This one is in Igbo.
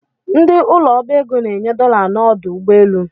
Ndị ụlọ ọbaego na-enye dola n’udu ugboelu